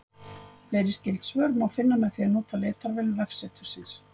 Fleiri skyld svör má finna með því að nota leitarvél vefsetursins.